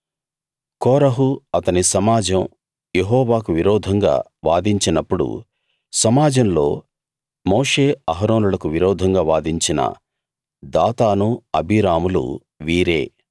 కోరహు అతని సమాజం యెహోవాకు విరోధంగా వాదించినప్పుడు సమాజంలో మోషే అహరోనులకు విరోధంగా వాదించిన దాతాను అబీరాములు వీరే